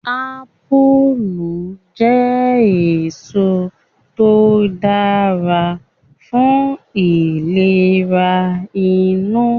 Apulu je eso to dara fun ilere inu